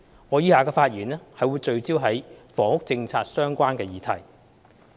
我以下的發言則會聚焦於與房屋政策相關的議題。